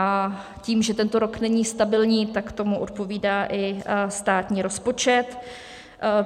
A tím, že tento rok není stabilní, tak tomu odpovídá i státní rozpočet.